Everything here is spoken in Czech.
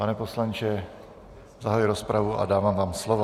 Pane poslanče, zahajuji rozpravu a dávám vám slovo.